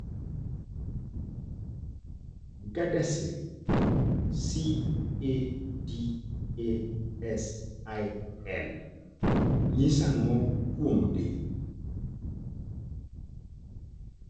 CADASIL nyiso ang'o kuom del?